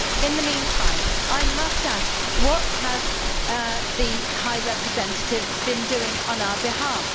In the meantime I must ask what has the High Representative been doing on our behalf?